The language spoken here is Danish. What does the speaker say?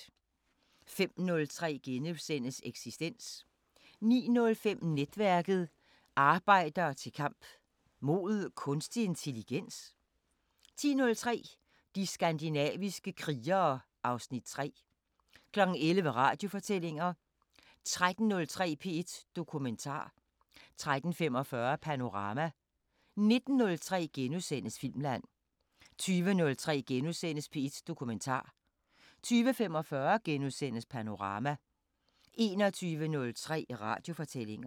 05:03: Eksistens * 09:05: Netværket: Arbejderne til kamp... mod kunstig intelligens? 10:03: De skandinaviske krigere (Afs. 3) 11:00: Radiofortællinger 13:03: P1 Dokumentar 13:45: Panorama 19:03: Filmland * 20:03: P1 Dokumentar * 20:45: Panorama * 21:03: Radiofortællinger